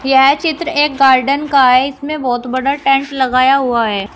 यह चित्र एक गार्डन का है इसमें बहोत बड़ा टेंट लगाया हुआ है।